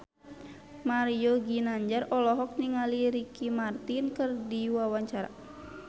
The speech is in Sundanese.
Mario Ginanjar olohok ningali Ricky Martin keur diwawancara